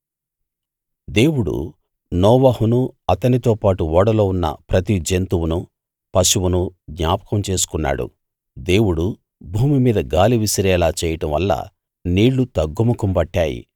దేవుడు నోవహును అతనితోపాటు ఓడలో ఉన్న ప్రతి జంతువునూ పశువునూ జ్ఞాపకం చేసుకున్నాడు దేవుడు భూమి మీద గాలి విసిరేలా చేయడంవల్ల నీళ్ళు తగ్గుముఖం పట్టాయి